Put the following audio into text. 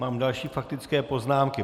Mám další faktické poznámky.